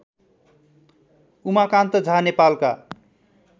उमाकान्त झा नेपालका